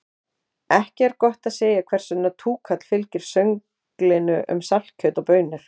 Ekki er gott að segja hvers vegna túkall fylgir sönglinu um saltkjöt og baunir.